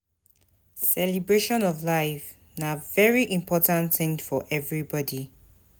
Celebration of a new life na very important thing for everybody